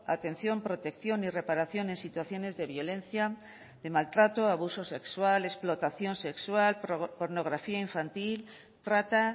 atención protección y reparación en situaciones de violencia de maltrato abusos sexual explotación sexual pornografía infantil trata